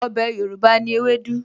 Ọbẹ̀ Yorùbá ni ewédú